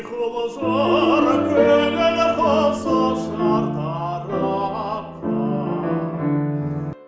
құйқылжыр көңіл құсы шартарапқа